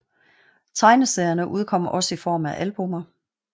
Tegneserierne udkom også i form af albummer